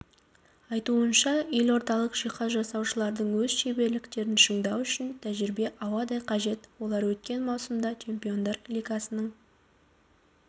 айтуынша елордалық жиһаз жасаушылардың өз шеберліктерін шыңдау үшін тәжірибе ауадай қажет олар өткен маусымда чемпиондар лигасының